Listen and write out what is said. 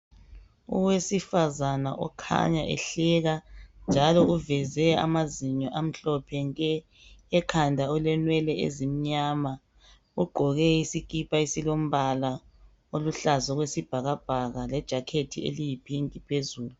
Owesifazana okhanya ehleka njalo uvezw amazinyo amhlophe nje, ekhanda ukenwele ezimnyama ugqoke isikipa esilombala oluhlaza okwesibhakabhaka lejakhethi eliyipink phezulu.